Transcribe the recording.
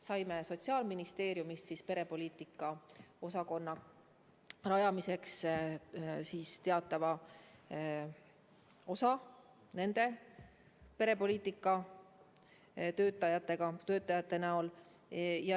Saime Sotsiaalministeeriumist perepoliitika osakonna rajamiseks teatava hulga inimesi nende perepoliitikatöötajate näol.